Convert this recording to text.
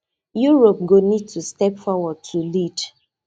europe go need to step forward to lead